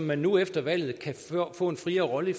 man nu efter valget kan få en friere rolle